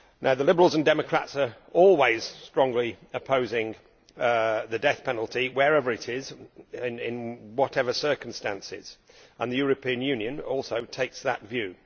The Liberals and Democrats always strongly oppose the death penalty wherever it is and in whatever circumstances, and the European Union also takes that view.